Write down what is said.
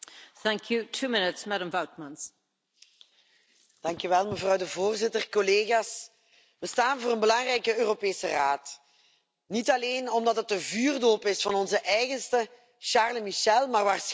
Voorzitter, collega's, we staan voor een belangrijke Europese Raad, niet alleen omdat het de vuurdoop is van onze eigen Charles Michel, maar waarschijnlijk hopelijk ook de start van de Commissie van Ursula von der Leyen.